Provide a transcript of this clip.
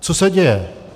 Co se děje?